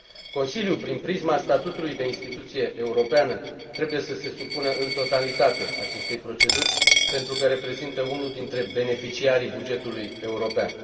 Consiliul, prin prisma statutului de instituție europeană, trebuie să se supună în totalitate acestei proceduri, pentru că reprezintă unul dintre beneficiarii bugetului european.